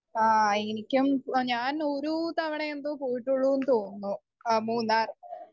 Speaker 1 ആ എനിക്കും ഞാൻ ഒരൂ തവണ എന്തോ പോയിട്ടൊള്ളൂന്ന് തോന്നുന്നു . ആ മൂന്നാർ.